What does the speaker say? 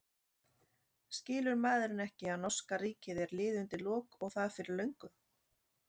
Skilur maðurinn ekki að norska ríkið er liðið undir lok og það fyrir löngu?